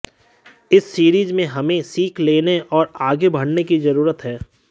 इस सीरीज से हमें सीख लेने और आगे बढ़ने की जरूरत है